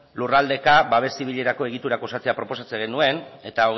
lurralde babes zibilerako egiturak osatzea proposatzen genuen eta